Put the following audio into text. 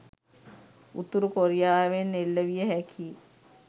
උතුරු කොරියාවෙන් එල්ල විය හැකි